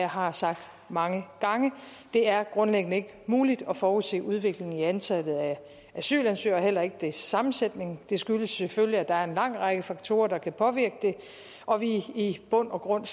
har sagt mange gange det er grundlæggende ikke muligt at forudse udviklingen i antallet af asylansøgere heller ikke sammensætningen det skyldes selvfølgelig at der er en lang række faktorer der kan påvirke det og at vi i bund og grund